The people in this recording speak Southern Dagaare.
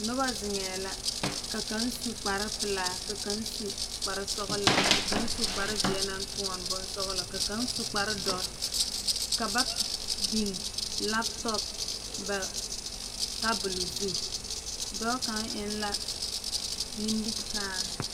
Noba zeŋee la ka kaŋ su kpar pelaa ka kaŋ su kpar sɔgelaa ka kaŋ kpar zeɛ naŋ toɔne bonsɔgelɔ ka kaŋ su kpar dɔre ka ba biŋ laptop ba tabol zu dɔɔ kaŋ eŋ la nimikyaan